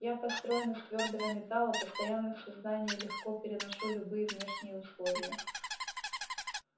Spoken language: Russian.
я построен из твёрдого металла постоянно в сознании легко переношу любые внешние условия